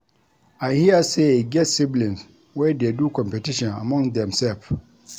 I hear sey e get siblings wey dey do competition among themsef.